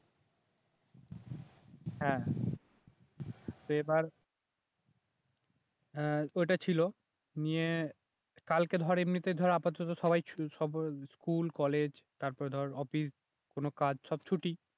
হ্যাঁ তো এবার আহ তো এটা ছিল নিয়ে কালকে ধর এমনিতে ধর আপাতত সবাই সব স্কুল কলেজ তারপর ধর অফিস কোন কাজ সব ছুটি